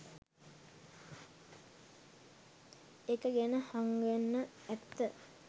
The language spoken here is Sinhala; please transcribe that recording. එක ගැන හංගන ඇත්ත.